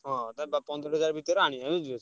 ହଁ ତା ଦ~ ପନ୍ଦର ହଜାର ଭିତେରେ ଆଣିଆ ବୁଝି ପାରୁଚ।